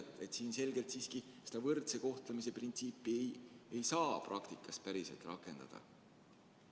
Seega siin selgelt siiski seda võrdse kohtlemise printsiipi ei saa praktikas päriselt rakendada.